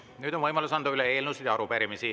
Nüüd on võimalus anda üle eelnõusid ja arupärimisi.